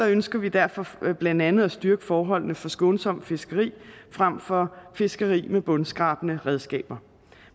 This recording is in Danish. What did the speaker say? ønsker vi derfor blandt andet at styrke forholdene for skånsomt fiskeri frem for fiskeri med bundskrabende redskaber